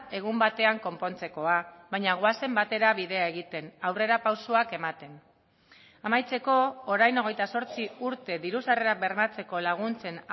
egun batean konpontzekoa baina goazen batera bidea egiten aurrerapausoak ematen amaitzeko orain hogeita zortzi urte diru sarrerak bermatzeko laguntzen